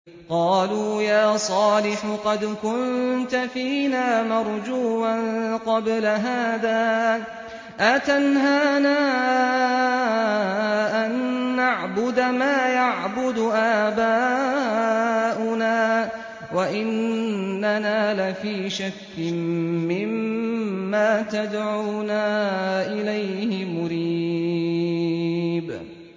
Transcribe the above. قَالُوا يَا صَالِحُ قَدْ كُنتَ فِينَا مَرْجُوًّا قَبْلَ هَٰذَا ۖ أَتَنْهَانَا أَن نَّعْبُدَ مَا يَعْبُدُ آبَاؤُنَا وَإِنَّنَا لَفِي شَكٍّ مِّمَّا تَدْعُونَا إِلَيْهِ مُرِيبٍ